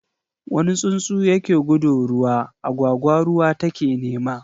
wani tsuntsu ya ke gudu ruwa, agwagwa ruwa ta ke nema.